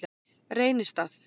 Reynistað